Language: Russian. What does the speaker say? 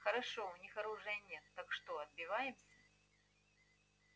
хорошо у них оружия нет так что отбиваемся